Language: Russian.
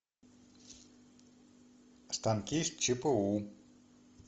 станки с чпу